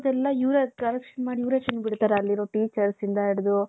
ಇವರೇ correction ಮಾಡಿ ಇವರೇ ತಿನ್ಬಿದ್ತಾರೆ ಅಲ್ಲಿರೋ teachers ಇಂದ ಇಡ್ದು .